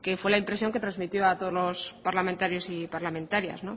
fue la impresión que transmitió a todos los parlamentarios y parlamentarias